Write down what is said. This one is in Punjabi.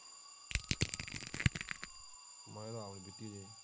ਮੈਂ ਤੇ ਆਪ ਨਹੀਂ ਪੀਤੀ ਹਜੇ।